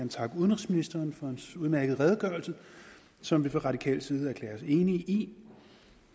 takke udenrigsministeren for hans udmærkede redegørelse som vi fra radikal side kan erklære os enige i